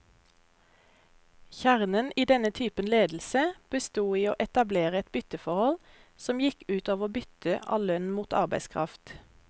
Kjernen i denne typen ledelse bestod i å etablere et bytteforhold, som gikk ut over byttet av lønn mot arbeidskraft.